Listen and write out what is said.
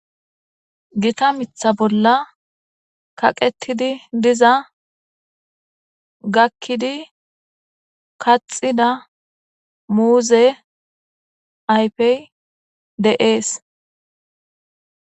Gita mitha bolla kaqetidi diza gakkidi kaxida muuze aypey deees